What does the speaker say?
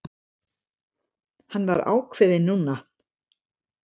Hann var ákveðinn núna.